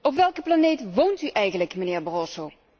Op welke planeet woont u eigenlijk, mijnheer Barroso?